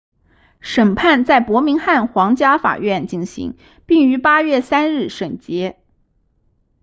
审判在伯明翰皇家法院进行并于8月3日审结